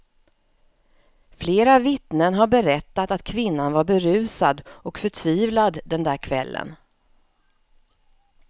Flera vittnen har berättat att kvinnan var berusad och förtvivlad den där kvällen.